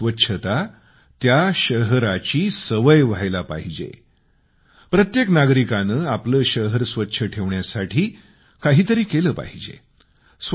शहर स्वच्छ ठेवणे हा जनतेचा स्थायीभाव बनला पाहिजे प्रत्येक नागरिकाने आपलं शहर स्वच्छ ठेवण्यासाठी काही तरी केलं पाहिजे